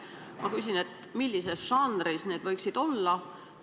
Ma küsin, millises žanris need võiksid olla.